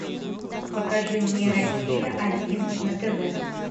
покажи мне россия один на тв